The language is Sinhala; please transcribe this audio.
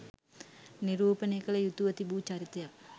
නිරූපණය කළ යුතුව තිබූ චරිතයක්